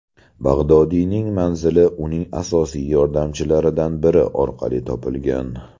Bag‘dodiyning manzili uning asosiy yordamchilaridan biri orqali topilgan.